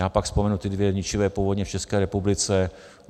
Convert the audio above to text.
Já pak vzpomenu ty dvě ničivé povodně v České republice.